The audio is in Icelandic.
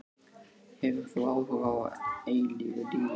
Hefur þú áhuga á eilífu lífi?